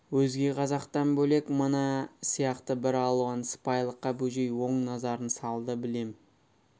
өзге қазақтан бөлек мына сияқты бір алуан сыпайылыққа бөжей оң назарын салды білем